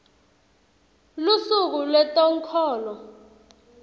lusuku lwetenkholo